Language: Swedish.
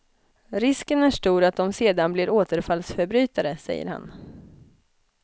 Risken är stor att de sedan blir återfallsförbrytare, säger han.